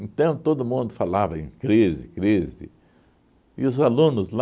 Então todo mundo falava em crise, crise, e os alunos lá,